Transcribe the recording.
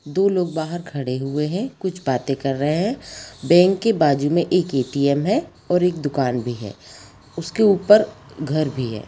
दो लोग बाहर खड़े हुए हैं कुछ बातें कर रहे हैं बैंक के बाजु में एक ए.टी.एम. है और एक दुकान भी हैं उसके ऊपर घर भी है।